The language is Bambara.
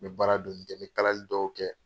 N bɛ baara dɔɔni kɛ, n bɛ kalali dɔw kɛ.